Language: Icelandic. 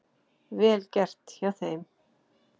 Vel gert hjá þeim.